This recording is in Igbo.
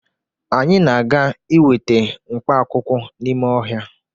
Anyị na-aga iweta mkpaakwụkwọ n'ime ọhịa